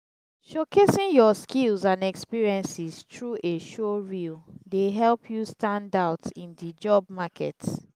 showcasing your skills and experiences through a showreel dey help you stand out in di job market.